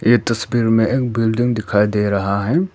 ये तस्वीर में एक बिल्डिंग दिखाई दे रहा है।